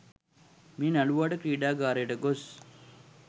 මේ නළුවාට ක්‍රීඩාගාරයට ගොස්